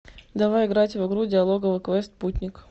давай играть в игру диалоговый квест путник